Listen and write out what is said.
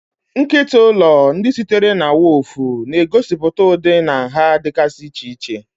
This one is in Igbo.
Nkịta ụlọ, ndị sitere na woofu, na-egosipụta ụdị na nha dịgasị iche iche.